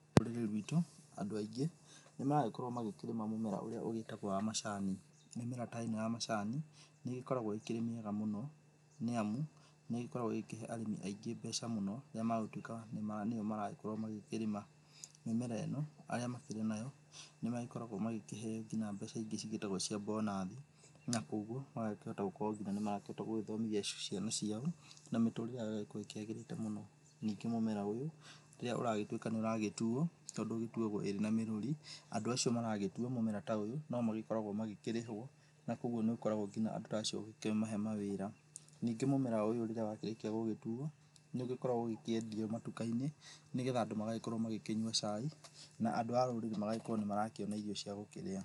Rũrĩrĩ rwitũ andũ aingĩ nĩ maragĩkorwo magĩkĩrĩma mũmera ũrĩa ũgĩtagwo wa macani. Mĩmera ta ĩno ya macani nĩ ĩgĩkoragwo ĩkĩrĩ mĩega mũno nĩamu nĩ ĩkoragwo ĩgĩkĩhe arĩmi aingĩ mbeca mũno na magatuĩka nĩo maragĩkĩrĩma. Mĩmera ĩno makĩrĩ nayo nĩmagĩkoragwo magĩkĩheyo nginya mbeca ingĩ cĩtagwo mbonathi, na koguo magagĩkorwo makĩhota nginya gũgĩthomithia ciana ciao na mĩtũrĩre yao ĩgagĩkorwo ĩkĩagĩrĩte mũno. Ningĩ mũmera ũyũ rĩrĩa ũragĩtuĩka nĩ ũragĩtuo tondũ ĩgĩtuwagwo ĩrĩ na mĩrũri andũ acio maragĩtua mũmera ta ũyũ no magĩkoragwo magĩkĩrĩhwo na koguo nĩ gũkoragwo ngina andũ ta acio gũkũmahe mawĩra. Ningĩ mũmera ũyũ rĩrĩa wakĩrĩkia gũgĩtuwo nĩ ũgĩkoragwo ũgĩkĩendio matuka-inĩ nĩgetha andũ magagĩkorwo magĩkĩnyua cai na andũ a rũrĩrĩ magakĩona irio cia gũkĩrĩa.